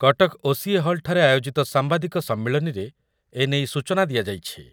Cuttack OCA. ହଲ୍‌ଠାରେ ଆୟୋଜିତ ସାମ୍ବାଦିକ ସମ୍ମିଳନୀରେ ଏନେଇ ସୂଚନା ଦିଆଯାଇଛି ।